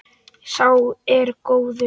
Sá er góður.